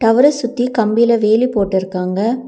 டவர்ர சுத்தி கம்பில வேலி போட்டுருக்காங்க.